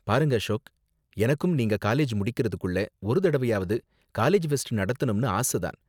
பாருங்க அசோக், எனக்கும் நீங்க காலேஜ் முடிக்கறதுக்குள்ள ஒரு தடவையாவது காலேஜ் ஃபெஸ்ட் நடத்தணும்னு ஆச தான்.